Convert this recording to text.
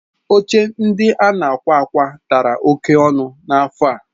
Oche ndị a na-akwa akwa dara oke ọnụ n'afọ a.